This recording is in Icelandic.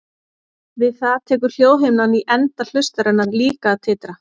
Við það tekur hljóðhimnan í enda hlustarinnar líka að titra.